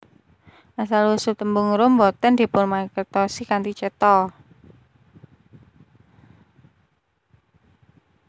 Asal usul tembung rum boten dipunmangertosi kanthi cetha